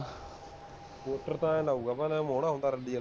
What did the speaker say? porter ਤਾਂ ਐਂ ਲਾਊਗਾ, ਭਾਣੇ ਮੋਨਾ ਹੁੰਦਾ ਰੱਲੀ ਆਲਾ